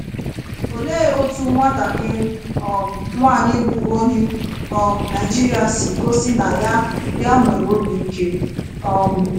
Olee otú nwatakịrị um nwaanyị bụ́ onye um Naịjirịa si gosị na ya ya nwere obi ike? um